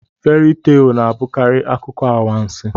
Feri teelụ na-abụkarị akụkọ anwansị.